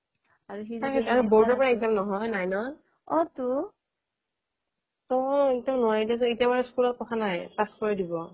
board ৰ পৰা exam নহয় nine ৰ এতিয়া বাৰু school ত কথা নাই pass কৰাই দিব